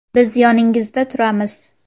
Biz yoningizda turamiz.